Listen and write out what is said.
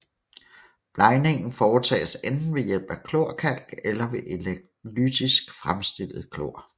Blegningen foretages enten ved hjælp af klorkalk eller ved elektrolytisk fremstillet klor